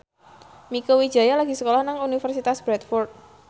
Mieke Wijaya lagi sekolah nang Universitas Bradford